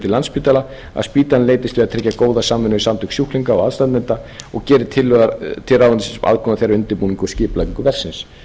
landspítala að spítalinn eitt við að tryggja góða samvinnu við samtök sjúklinga og aðstandenda og gerir tillögu til ráðuneytisins um aðkomu þeirra að undirbúningi og skipulagningu verksins